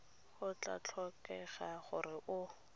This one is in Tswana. go tla tlhokega gore o